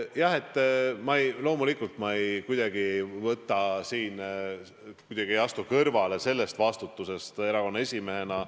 Jah, loomulikult ma ei astu siin kuidagi kõrvale vastutusest erakonna esimehena.